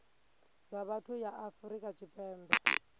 dza vhuthu ya afrika tshipembe